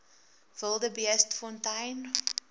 wildebeestfontein